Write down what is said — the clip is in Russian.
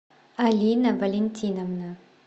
алина валентиновна